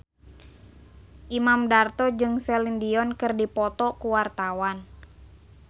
Imam Darto jeung Celine Dion keur dipoto ku wartawan